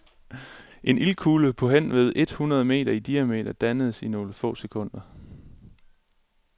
En ildkugle på henved et hundrede meter i diameter dannedes i nogle få sekunder.